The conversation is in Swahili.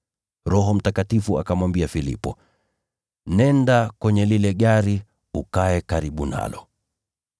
Roho Mtakatifu akamwambia Filipo, “Nenda kwenye lile gari ukae karibu nalo.”